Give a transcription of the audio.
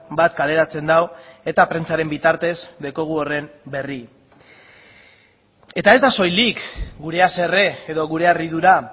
bat kaleratzen du eta prentsaren bitartez daukagu horren berri eta ez da soilik gure haserre edo gure harridura